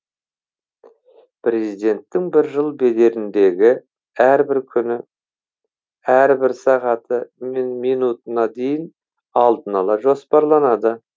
президенттің бір жыл бедеріндегі әрбір күні әрбір сағаты мен минутына дейін алдын ала жоспарланады